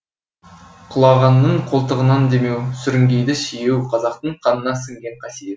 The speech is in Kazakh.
құлағанның қолтығынан демеу сүрінгенді сүйеу қазақтың қанына сіңген қасиет